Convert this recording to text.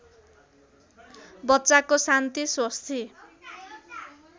बच्चाको शान्ति स्वस्ति